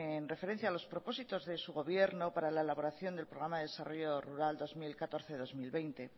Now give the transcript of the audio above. en referencia a los propósitos de su gobierno para la elaboración del programa de desarrollo rural dos mil catorce dos mil veinte